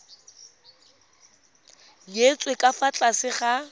nyetswe ka fa tlase ga